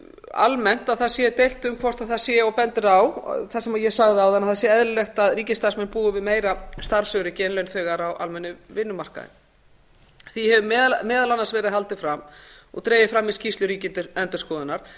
almennt að það sé deilt um hvort það sé og bendir á það sem ég sagði áðan að það sé eðlilegt að ríkisstarfsmenn búi við meira starfsöryggi en launþegar á almennum vinnumarkaði því hefur meðal annars verið haldið fram og dregið fram í skýrslu ríkisendurskoðunar